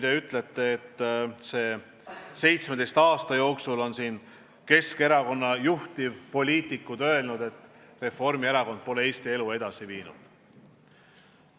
Teie väitel on Keskerakonna juhtpoliitikud öelnud, et Reformierakond pole 17 aasta jooksul Eesti elu edasi viinud.